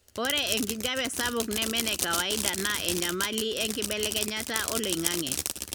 ore enkijape sapuk neme enekawaida na enyamali enkibelekenyata oloingange.